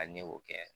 Hali ne y'o kɛ